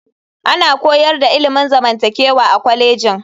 Ana koyar da ilimin zamantakewa a kwalejin.